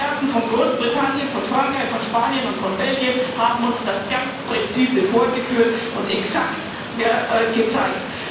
Die Experten von Großbritannien, von Frankreich, von Spanien und von Belgien haben uns das ganz präzise vorgeführt und exakt gezeigt.